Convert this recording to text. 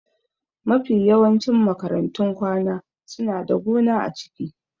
Mafi yawancin makarantun kwana suna da gona a ciki.